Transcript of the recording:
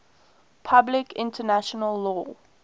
public international law